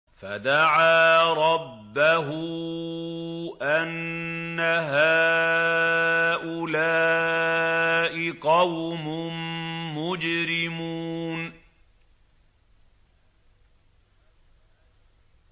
فَدَعَا رَبَّهُ أَنَّ هَٰؤُلَاءِ قَوْمٌ مُّجْرِمُونَ